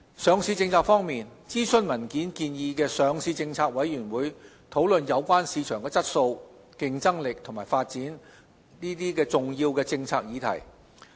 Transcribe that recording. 上市政策方面，諮詢文件建議的上市政策委員會討論有關市場質素、競爭力及發展重要的政策議題。